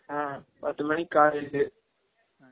ஆ பத்து மனிக்கு college